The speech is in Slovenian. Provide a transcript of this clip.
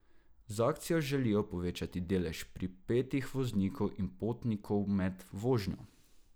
Z akcijo želijo povečati delež pripetih voznikov in potnikov med vožnjo.